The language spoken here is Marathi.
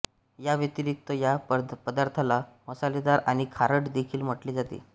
याव्यतिरिक्त या पदार्थाला मसालेदार आणि खारट देखील म्हटले जाते